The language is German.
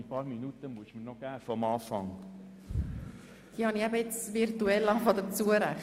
Die paar Minuten, die durch den Unterbruch verloren gegangen sind, müssen Sie mir noch zugestehen!